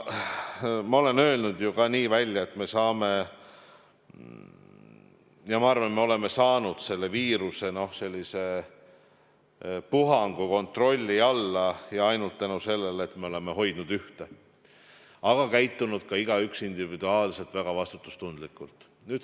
Ma olen öelnud ju ka välja, et me saame, ja ma arvan, et me oleme saanud selle viirusepuhangu kontrolli alla ainult tänu sellele, et me oleme hoidnud ühte, aga käitunud ka igaüks individuaalselt väga vastutustundlikult.